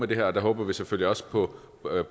det her og der håber vi selvfølgelig også på